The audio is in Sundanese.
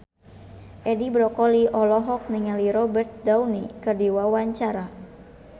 Edi Brokoli olohok ningali Robert Downey keur diwawancara